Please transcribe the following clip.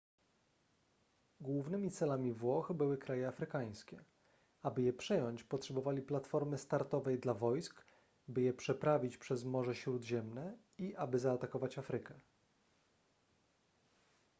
głównymi celami włoch były kraje afrykańskie aby je przejąć potrzebowali platformy startowej dla wojsk by je przeprawić przez morze śródziemne i aby zaatakować afrykę